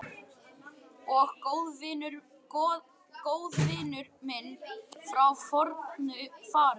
Og góðvinur minn frá fornu fari.